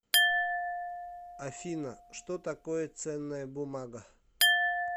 афина что такое ценная бумага